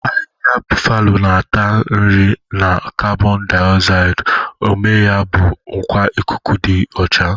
Ahịhịa bufalo na-ata nri na karbonu daozaidi, ume ya bụ nkwa ikuku dị ọcha.